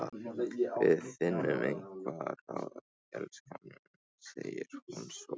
Við finnum einhver ráð, elskan mín, segir hún svo.